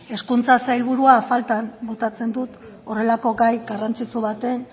hezkuntza sailburua faltan botatzen dut horrelako gai garrantzitsu baten